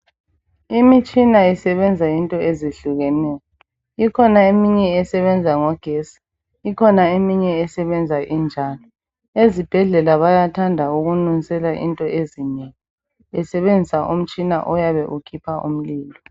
Imitshina isebenza into ezehlukeneyo ikhona eminye esebenza ngogesi ikhona eminye esebenza injalo. Ezibhedlela bayathanda ukunusela into ezinengi besebenzisa umtshina oyabe ukhipha umlilo.